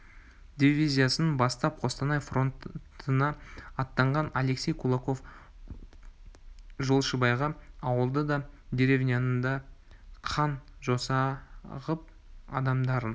дивизиясын бастап қостанай фронтына аттанған алексей кулаков жолшыбайғы ауылды да деревняны да қан жоса ғып адамдарын